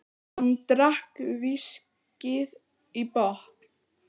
Hann drakk viskíið í botn.